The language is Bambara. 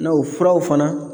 N'o furaw fana